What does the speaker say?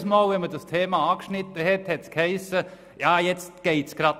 Jedes Mal, wenn man das Thema anschnitt, hiess es, dass es jetzt gerade nicht gehe.